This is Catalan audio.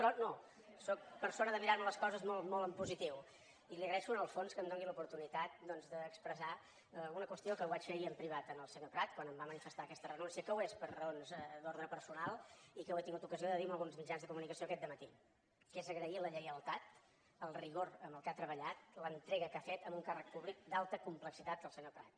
però no sóc persona de mirar me les coses molt en positiu i li agraeixo en el fons que em doni l’oportunitat doncs d’expressar una qüestió que ho vaig fer ahir en privat al senyor prat quan em va manifestar aquesta renúncia que ho és per raons d’ordre personal i que ho he tingut ocasió de dir en alguns mitjans de comunicació aquest dematí que és agrair la lleialtat el rigor amb què ha treballat l’entrega que ha fet en un càrrec públic d’alta complexitat el senyor prat